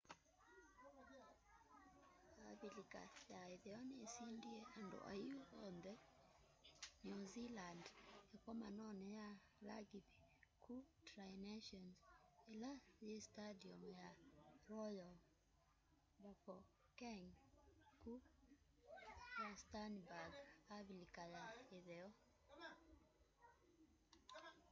avilika ya itheo nisindie andu aiu on the new zealand ikomanoni ya langibi ku tri nations ila yi standium ya royal bafokeng ku rustenburg avilika ya itheo